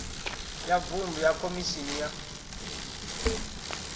ya vuṅdu ya khomishini ya